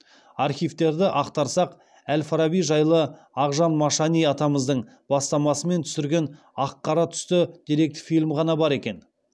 архивтерді ақтарсақ әл фараби жайлы ақжан машани атамыздың бастамасымен түсірген ақ қара түсті деректі фильм ғана бар екен